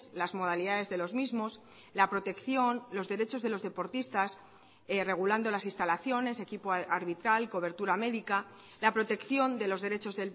las modalidades de los mismos la protección los derechos de los deportistas regulando las instalaciones equipo arbitral cobertura médica la protección de los derechos